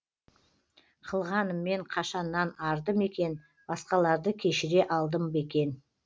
қылғаныммен қашаннан арды мекен басқаларды кешіре алдым ба екен